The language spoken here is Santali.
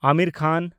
ᱟᱢᱤᱨ ᱠᱷᱟᱱ